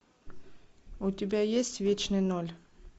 у тебя есть вечный ноль